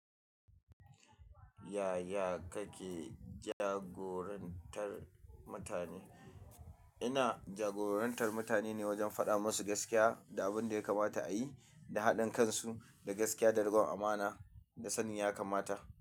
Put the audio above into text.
Yaya kake jagorantar mutane? Ina jagorantar mutane ne wajen faɗa musu gaskiya da abinda ya kamata ayi da haɗin kan su da gaskiya da rikon amana da sanin yakamata.